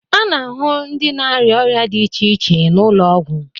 A na-ahụ ndị na-arịa ọrịa dị iche iche n'ụlọ ọgwụ.